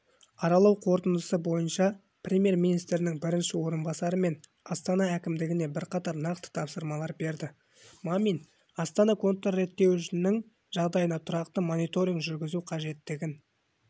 аралау қорытындысы бойынша премьер-министрінің бірінші орынбасары мен астана әкімдігіне бірқатар нақты тапсырмалар берді мамин астана контрреттеуішінің жағдайына тұрақты мониторинг жүргізу қажеттігін